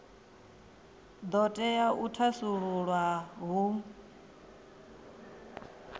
do tea u thasululwa hu